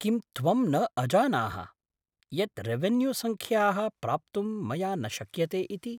किं त्वं न अजानाः, यत् रेवेन्यूसङ्ख्याः प्राप्तुं मया न शक्यते इति?